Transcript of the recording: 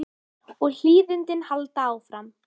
Og hlýindin halda áfram.